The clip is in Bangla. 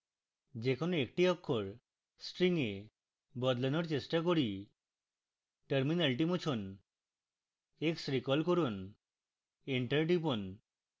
যে কোনো একটি অক্ষর string a বদলানোর চেষ্টা করি